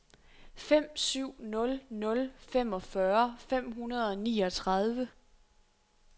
fem syv nul nul femogfyrre fem hundrede og niogtredive